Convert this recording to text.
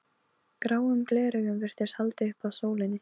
Gráum gleraugum virtist haldið upp að sólinni.